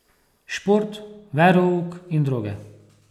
Šport, verouk in droge.